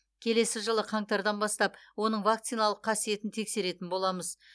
келесі жылы қаңтардан бастап оның вакциналық қасиетін тексеретін боламыз